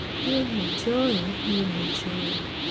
niĩ nĩnjũĩ!niĩ nĩnjũĩ!